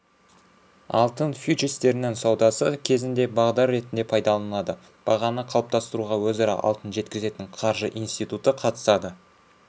алтын фьючерстерінің саудасы кезінде бағдар ретінде пайдаланылады бағаны қалыптастыруға өзара алтын жеткізетін қаржы институты қатысады